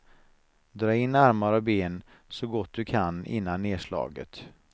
Dra in armar och ben så gott du kan innan nerslaget.